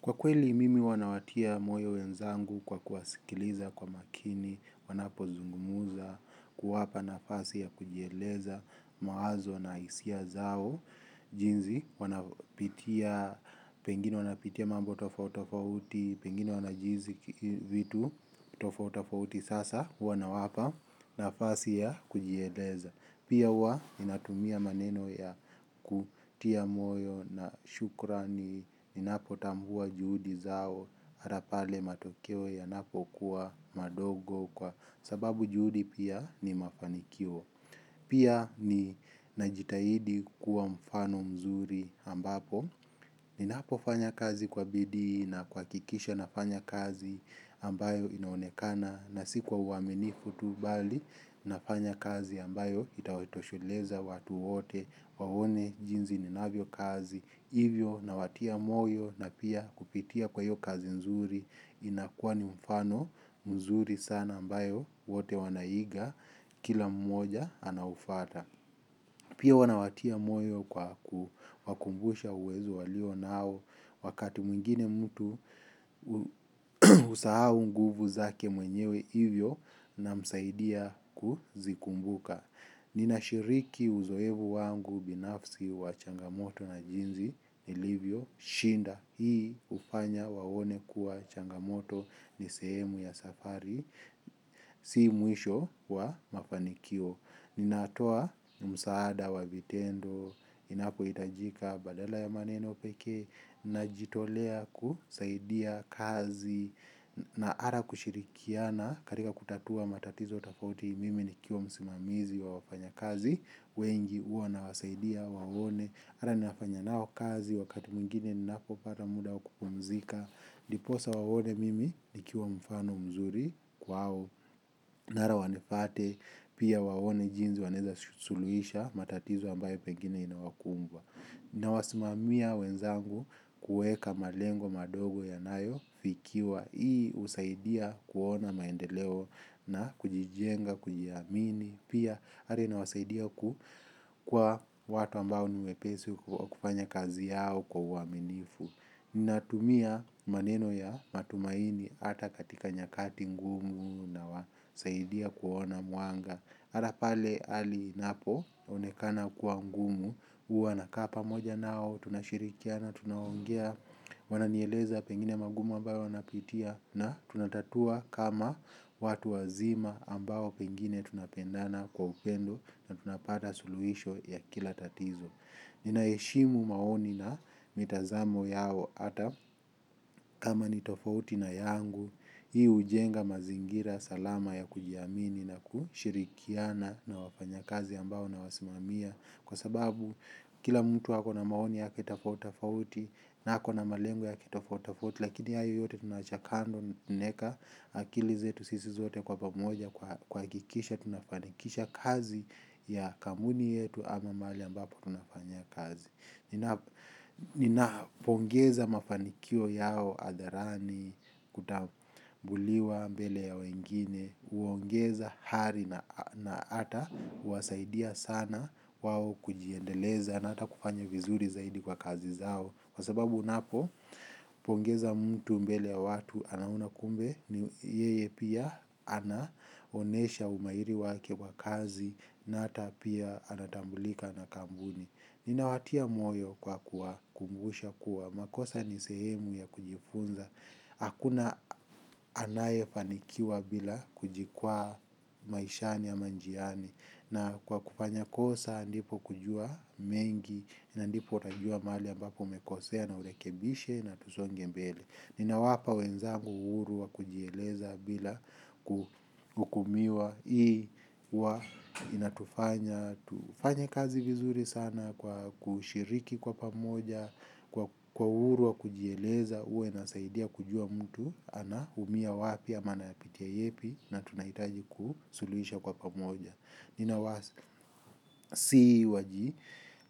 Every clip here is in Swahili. Kwa kweli mimi huwa nawatia moyo wenzangu kwa kuwasikiliza kwa makini wanapo zungumza kuwapa nafasi ya kujieleza mawazo na hisia zao, jinsi wanavyopitia, pengine wanapitia mambo tofauti tofauti pengine wanajihisi vitu tofauti tofauti sasa wanawapa nafasi ya kujieleza. Pia wa inatumia maneno ya kutia moyo na shukrani ninapo tambua juhudi zao mara pale matukio yanapo kuwa madogo kwa sababu juhudi pia ni mafanikio. Pia ninajitahidi kuwa mfano mzuri ambapo ninapo fanya kazi kwa bidii na kuhakikisha nafanya kazi ambayo inaonekana. Na si kwa uaminifu tu bali, nafanya kazi ambayo itawatosheleza watu wote waone jinsi ninavyo kazi, hivyo na watia moyo na pia kupitia kwa hiyo kazi nzuri, inakua ni mfano mzuri sana ambayo wote wanaiga kila mmoja anaufata. Pia huwa nawatia moyo kwa kukumbusha uwezo waliyo nayo wakati mwingine mtu usahau nguvu zake mwenyewe hivyo na msaidia kuzikumbuka. Ninashiriki uzoefu wangu binafsi wa changamoto na jinzi ilivyo shinda. Hii upanya waone kuwa changamoto ni sehemu ya safari si mwisho wa mafanikio. Ninatoa msaada wa vitendo, inapo hitajika badala ya maneno pekee, najitolea kusaidia kazi na hata kushirikiana katika kutatua matatizo tofauti mimi nikiwa msimamizi wa wafanya kazi wengi huwa nawasaidia waone. Ara ninafanya nao kazi wakati mwingine ninapopata muda wa kupumzika ndiposa waone mimi nikiwa mfano mzuri kwao nara wanipate pia waone jinsi wanaweza suluhisha matatizo ambayo pengini inawakumba. Na wasimamia wenzangu kuweka malengo madogo yanayo fikiwa. Hii husaidia kuona maendeleo na kujijenga, kujiamini pia hata inawasaidia kwa watu ambao ni wepesi kufanya kazi yao kwa uaminifu. Ninatumia maneno ya matumaini hata katika nyakati ngumu na wasaidia kuona mwanga. Hata pale hali inapo onekana kwa ngumu huwa nakaa pamoja nao tunashirikia na tunaongea. Wananieleza pengine magumu ambayo wanapitia na tunatatua kama watu wazima ambayo pengine tunapendana kwa upendo na tunapata suluhisho ya kila tatizo. Ninaheshimu maoni na mitazamo yao ata kama nitofauti na yangu, hii hujenga mazingira salama ya kujiamini na kushirikiana na wafanya kazi ambao na wa simamia. Kwa sababu kila mtu ako na maoni yake kitofauti fauti na ako na malengo ya kitofautitofauti lakini hayo yote tunacha kando naweka akili zetu sisi zote kwa pamoja kwa kuhakkisha tunafanikisha kazi ya kamuni yetu ama mahalili ambapo tunafanyia kazi nina pongeza mafanikio yao hadharani kutatuliwa mbele ya wengine huongeza ari na hata huwasaidia sana wao kujiendeleza na hata kufanya vizuri kwa kazi zao kwa sababu unapo pongeza mtu mbele ya watu anaona kumbe yeye pia anaonesha umahiri wake wa kazi na hata pia anatambulika na kampuni. Ninawatia moyo kwa kuwakumbusha kuwa makosa ni sehemu ya kujifunza. Hakuna anaye fanikiwa bila kujikwa maishani ama njiani. Na kwa kupanya kosa andipo kujua mengi. Andipo utajua mali ambapo umekosea na urekebishe na tusonge mbele. Nina wapa wenzangu uurua kujieleza bila kukumiwa. Ii uwa inatufanya tufanye kazi vizuri sana kwa ushiriki kwa pamoja kwa bidii sana kazi vizuri sana kwa kushiriki kwa pamoja kwa uhuru wa kujieleza huwa inasaidia kujua mtu ana umia wapi ama anayapitia yepi na tunahitaji kusuluhisha kwa pamoja nina wasi waji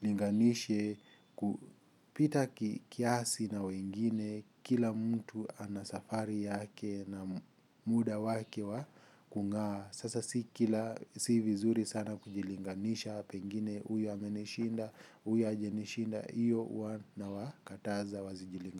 linganishe kupita kiasi na wengine kila mtu ana safari yake na muda wake wa kungaa sasa si vizuri sana kujilinganisha pengine huyu amenishinda, huyu hajanishinda iyo huwa nanawakataza wasijilinganishe.